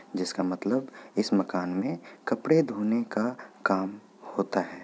जिसका मतलब इस मकान में कपड़े धोने का काम होता है।